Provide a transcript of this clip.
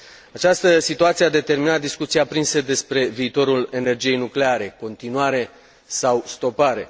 Această situație a determinat discuții aprinse despre viitorul energiei nucleare continuare sau stopare.